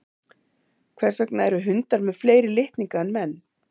hvers vegna eru hundar með fleiri litninga en menn